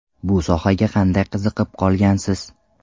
Bu sohaga qanday qiziqib qolgansiz?